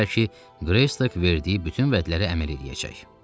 Bilirdilər ki, Qreystok verdiyi bütün vədlərə əməl edəcək.